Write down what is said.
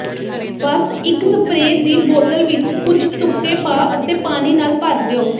ਬਸ ਇੱਕ ਸਪਰੇਅ ਦੀ ਬੋਤਲ ਵਿੱਚ ਕੁਝ ਤੁਪਕੇ ਪਾ ਅਤੇ ਪਾਣੀ ਨਾਲ ਭਰ ਦਿਓ